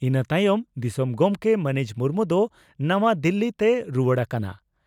ᱤᱱᱟᱹ ᱛᱟᱭᱚᱢ ᱫᱤᱥᱚᱢ ᱜᱚᱢᱠᱮ ᱢᱟᱹᱱᱤᱡ ᱢᱩᱨᱢᱩ ᱫᱚ ᱱᱟᱟᱣᱟ ᱫᱤᱞᱤ ᱛᱮᱭ ᱨᱩᱣᱟᱹᱲ ᱟᱠᱟᱱᱟ ᱾